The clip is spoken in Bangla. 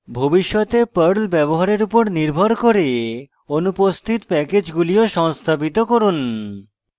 ভবিষ্যতে perl ব্যবহারের উপর নির্ভর করে অনুপস্থিত প্যাকেজ গুলি সংস্থাপিত করুন